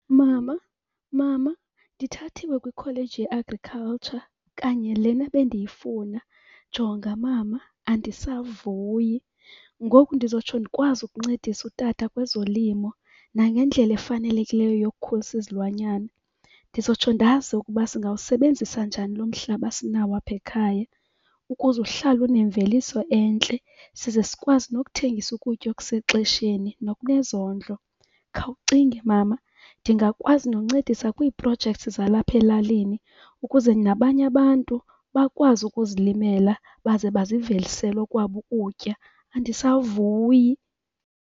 Mama, Mama, ndithathiwe kwikholeji ye-agriculture, kanye lena bendiyifuna! Jonga Mama, andisavuyi! Ngoku ndizotsho ndikwazi ukuncedisa uTata kwezolimo nangendlela efanelekileyo yokukhulisa izilwanyana. Ndizotsho ndazi ukuba singawusebenzisa njani lo mhlaba sinawo apha ekhaya ukuze uhlale unemveliso entle, size sikwazi nokuthengisa ukutya okusexesheni nokunezondlo. Khawucinge Mama, ndingakwazi noncedisa kwii-projects zalapha elalini ukuze nabanye abantu bakwazi ukuzilimela baze bazivelisele okwabo ukutya. Andisavuyi!